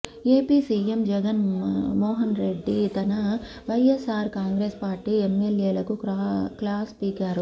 AP CM Jagan Mohan Reddy తన YSR Congress party ఎమ్మెల్యేలకు class పీకారు